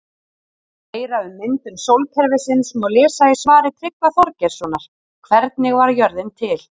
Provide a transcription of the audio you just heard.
Meira um myndun sólkerfisins má lesa í svari Tryggva Þorgeirssonar Hvernig varð jörðin til?